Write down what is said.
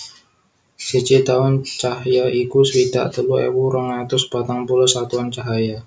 Siji taun cahya iku swidak telu ewu rong atus patang puluh satuan cahaya